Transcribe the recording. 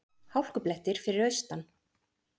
Hálkublettir fyrir austan